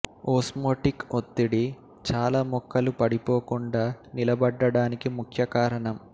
osmotic ఒత్తిడి చాల మొక్కలు పడిపోకుండా నిలబడ్డానికి ముఖ్య కారణం